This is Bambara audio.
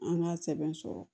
An k'a sɛbɛn sɔrɔ